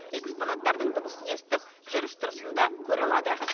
экспонаттардың дыбысын естіп жүріс тұрысын да көре алады